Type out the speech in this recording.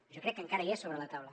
jo crec que encara hi és sobre la taula